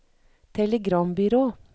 telegrambyrå